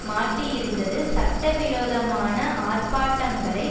மாட்டியிருந்தது சட்டவிரோதமான ஆர்ப்பாட்டங்களை